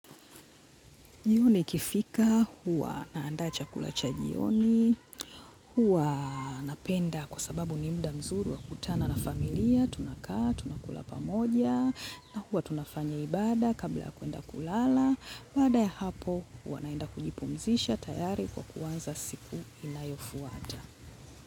Jioni ikifika, huwa naanda chakula cha jioni, huwa napenda kwa sababu ni muda mzuri wa kukutana na familia, tunakaa, tunakula pamoja, na huwa tunafanya ibada kabla ya kuenda kulala, baada ya hapo huwa naenda kujipumzisha tayari kwa kuanza siku inayofuata.